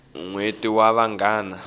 nweti wa vangama